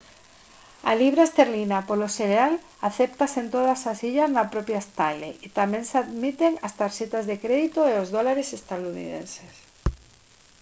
a libra esterlina polo xeral acéptase en todas as illas e na propia stanley tamén se admiten as tarxetas de crédito e os dólares estadounidenses